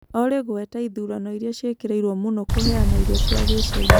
Olly gweta ĩthũrano ĩrĩa cĩĩkĩrĩĩrwo mũno kũheana ĩrĩo cĩa gĩchĩna